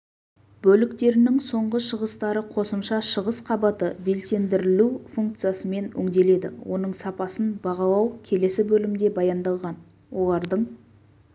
бөліктерінің соңғы шығыстары қосымша шығыс қабаты белсендірілу функциясымен өңделеді оның сапасын бағалау келесі бөлімде баяндалған олардың